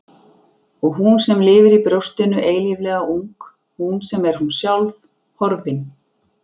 Og hún sem lifir í brjóstinu eilíflega ung, hún sem er hún sjálf, horfin.